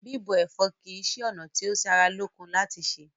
Bíbọ ẹ̀fọ́ kí ṣe ona ti o sára lókun láti ṣé